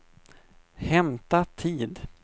hämta tid